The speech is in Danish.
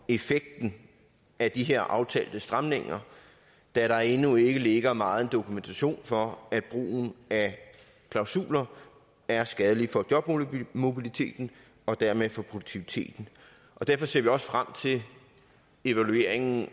effekten af de her aftalte stramninger da der endnu ikke ligger megen dokumentation for at brugen af klausuler er skadelig for jobmobiliteten og dermed for produktiviteten derfor ser vi også frem til evalueringen